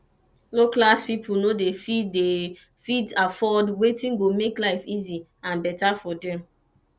low class pipo no de fit de fit afford wetin go make life easy and better for dem